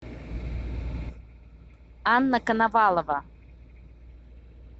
анна коновалова